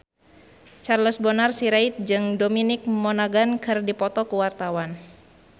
Charles Bonar Sirait jeung Dominic Monaghan keur dipoto ku wartawan